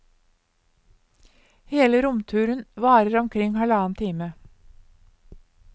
Hele romturen varer omkring halvannen time.